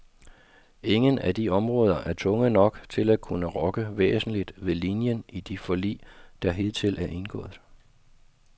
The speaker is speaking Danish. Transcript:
Ingen af de områder er tunge nok til at kunne rokke væsentligt ved linien i de forlig, der hidtil er indgået.